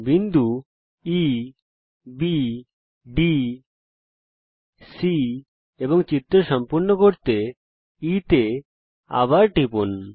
বিন্দু E B D C তে এবং চিত্র সম্পূর্ণ করতে E তে আবার টিপুন